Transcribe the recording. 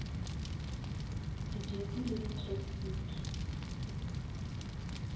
di jersey le di tracksuit